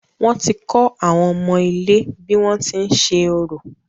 Wọ́n ti kọ́ àwọn ọmọ ilé bí wọ́n ti ń ṣe orò.